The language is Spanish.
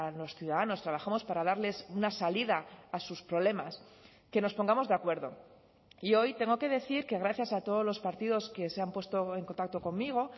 los ciudadanos trabajamos para darles una salida a sus problemas que nos pongamos de acuerdo y hoy tengo que decir que gracias a todos los partidos que se han puesto en contacto conmigo